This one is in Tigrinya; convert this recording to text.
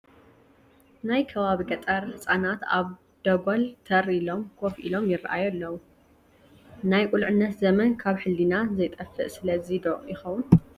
ናይ ከባቢ ገጠር ህፃናት ኣብ ደጐል ተር ኢሎም ኮፍ ኢሎም ይርአዩ ኣለዉ፡፡ ናይ ቁልዕነት ዘመን ካብ ሕሊና ዘይጠፍእ ስለዚ ዶ ይኸውን?